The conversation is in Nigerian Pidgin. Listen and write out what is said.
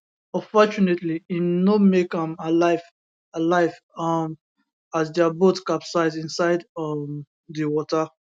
unfortunately im no make am alive alive um as dia boat capsize inside um di water